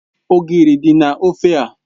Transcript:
Ogiri di na ofe a.